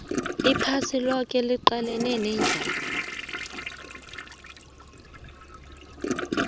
iphasi loke liqalene nendlala